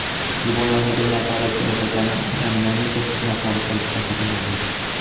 Qurbonlarning bir nafari, jarohatlanganlarning to‘qqiz nafari politsiya xodimlaridir.